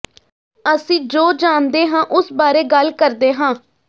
ਅਸੀਂ ਜੋ ਜਾਣਦੇ ਹਾਂ ਉਸ ਬਾਰੇ ਗੱਲ ਕਰਦੇ ਹਾਂ